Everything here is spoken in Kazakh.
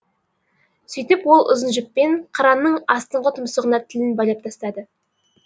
сөйтіп ол ұзын жіппен қыранның астыңғы тұмсығына тілін байлап тастады